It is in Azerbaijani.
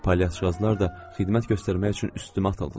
Palyatçılar da xidmət göstərmək üçün üstümə atıldılar.